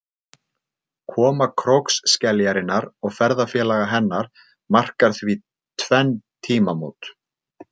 Koma krókskeljarinnar og ferðafélaga hennar markar því tvenn tímamót.